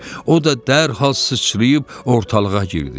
O da dərhal sıçrayıb ortalığa girdi.